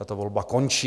Tato volba končí.